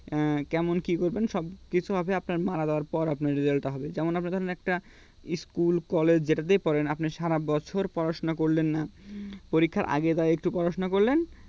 উম কেমন কী করবেন সবকিছু হবে আপনার মারা যাওয়ার পর আপনার result টা হবে যেমন আপনার ধরেন একটা school collage যেটাতেই পড়েন আপনি সারা বছর পড়াশোনা করলেন না পরীক্ষার আগে একটু পড়াশোনা করলেন